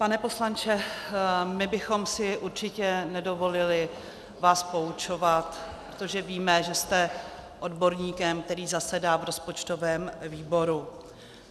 Pane poslanče, my bychom si určitě nedovolili vás poučovat, protože víme, že jste odborníkem, který zasedá v rozpočtovém výboru.